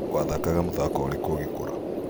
Wathakaga mũthago ũrĩku ugĩkũra?